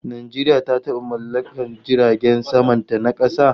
Najeriya ta taba mallakar jiragen saman ta na kasa